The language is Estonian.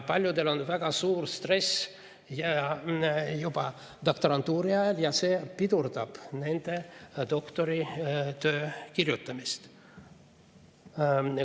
Paljudel on väga suur stress juba doktorantuuri ajal ja see pidurdab nende doktoritöö kirjutamist.